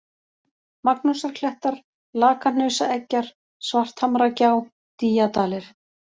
Magnúsarklettar, Lakahnausaeggjar, Svarthamragjá, Dýjadalir